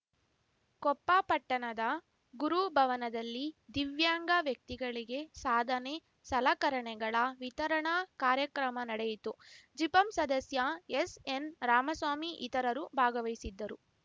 ಕೊಪ್ಪ ಪಟ್ಟಣದ ಗುರು ಭವನದಲ್ಲಿ ದಿವ್ಯಾಂಗ ವ್ಯಕ್ತಿಗಳಿಗೆ ಸಾಧನೆ ಸಲಕರಣೆಗಳ ವಿತರಣಾ ಕಾರ್ಯಕ್ರಮ ನಡೆಯಿತು ಜಿಪಂ ಸದಸ್ಯ ಎಸ್‌ಎನ್‌ ರಾಮಸ್ವಾಮಿ ಇತರರು ಭಾಗವಹಿಸಿದ್ದರು